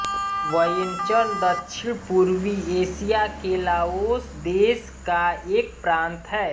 Vientiane दक्षिणपूर्वी Asia के Laos देश का एक प्रान्त है